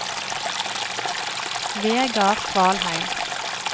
Vegard Kvalheim